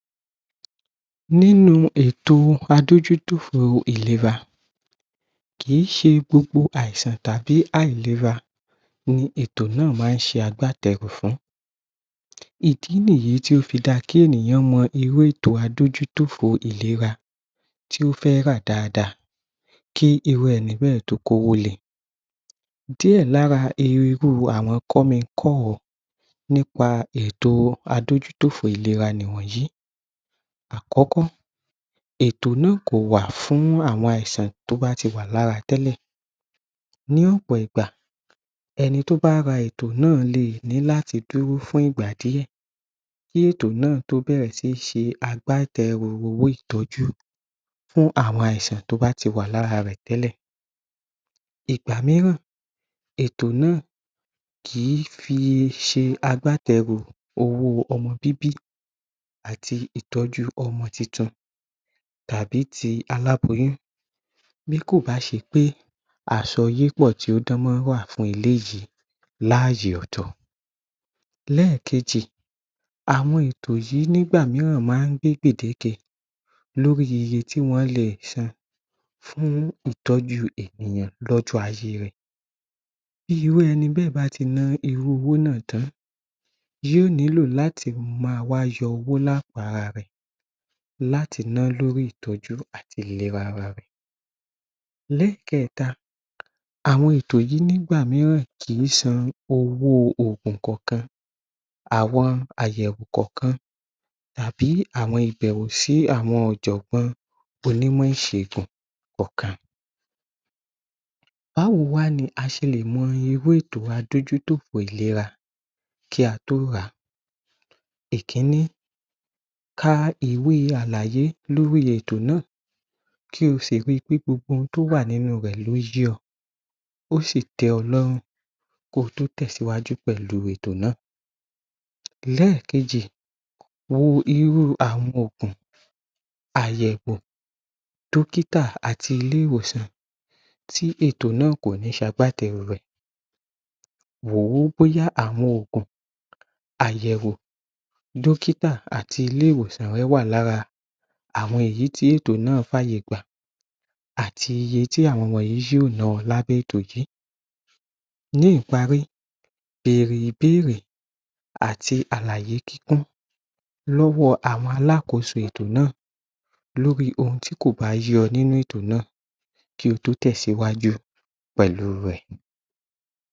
Nínú ètò adójú tòfo ìléra kì í ṣe gbogbo àìsàn tàbí àìléra ni ètò náà máa ń ṣe agbátẹrù fùn-ún ìdí nìyí tí ó fi da kí ènìyàn mọ irú ètò adójú tòfo ìléra tí ó fẹ̀ rà dáada kí irú ẹni bẹ́ẹ̀ tó kówó le díẹ̀ lára irú àwọn kọ́mi kọ́ o niípa ètò adójú tòfo ìléra ni wọ̀nyìí àkọ́kọ́ ètò náà kò wà fún àwọn àìsàn tí ó bá tiwa lára tẹ́lẹ̀ ní ọ̀pọ̀ ìgbà ẹni tí ó bá ra ẹtọ náà lé nì láti dúró fún ìgbà díẹ̀ kí ẹto náà tó bẹ̀ẹ̀rẹ sí ń ṣe agbátẹ̀ẹrù owó ìtọ́jú fún àwọn àìsàn tí ó báti wà lára rẹ̀ tẹ́lẹ̀ ìgbà míìràn ètò náà kì í fi ṣe agbátẹ̀ẹrù owó ọmọ bíbí àti ìtọ́jú ọmọ tuntun tàbí ti aláboyún bí kòbá ṣe pé àsọ́yípọ̀ tí ó dánmọ́rán wà fún eléyìi laị́yè ọ̀tọ̀ lẹ́kèeejì àwọn ètò yíì nígbà míìràn máa ń gbèdégẹ lórí iye tí wọ́n lè san fún ìtọ́jú ènìyàn lọ́jọ́ ayé rẹ̀ bí irú ẹni bẹ́ẹ̀ báti ná irú owó ná tàn-án yóò nílò láti ma wá yọ owó lápò ara rẹ̀ láti ná lórí ìtọ́jú àti ìléra ara rẹ̀ lẹ́kẹ̀ẹ́ta àwọn ètò yìí nígbà míìràn kì í san owó òògùn kọ̀ọ̀kan àwọn ayẹ̀wò ǹǹkan-kan tàbí àwọn ìbẹ̀wò sí àwọn ọ̀jọ̀gbọ́n onímọ̀ ìṣègùn ọ̀kan báwo wá ni a ṣe lè mọ irú ètò adójú tòfo ìléra kí a tó ràá ìkíńní ka ìwé àlàyè lórí ètò náà kí o sì ri wí pé gbogbo ohun tí ó wà nínú rẹ̀ ló yé ọ tí ó sì tẹ́ ọ lọ́rùn kí o tẹ̀síwájú pẹ̀lú ètò náà lẹ́kèejì wo irú awọn òògùn àyẹ̀wò dọ́kítà àti ilé-ìwòsàn tí etò náà kò ní ṣe agbátẹ̀ẹrù rẹ̀ rọ̀ wí bóyá awọn òògùn àyẹ̀wo dọ́kítà àti ilé-ìwòsàn rẹ wà lára àwọn èyí tí ètò náà fi àyè gbà àti iye tí àwọn yìí yóò ná ẹ lábẹ́ ètò yìí ní ìpárí bèrè ibéèrè àti àlàyé kíkún lọ́wọ́ àwọn alákoso ètò náà lórí ohun tí kò bá yé ọ nínú èto náa kí o tó tẹ̀síwájú pẹ̀lú rẹ̀